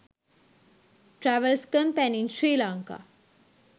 travels company in sri lanka